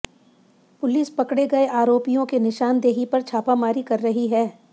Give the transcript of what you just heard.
police पकड़े गए आरोपियों के निशानदेही पर छापामारी कर रही है